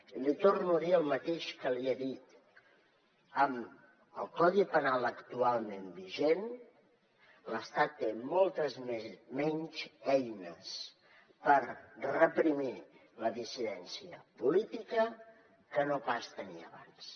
i li torno a dir el mateix que li he dit amb el codi penal actualment vigent l’estat té moltes menys eines per reprimir la dissidència política que no pas tenia abans